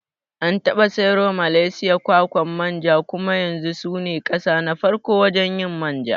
An taɓa sayarwa Malaysia kwakwan manja kuma yanzu sune kasa na farko wajen yin manja